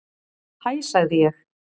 Hæ sagði ég.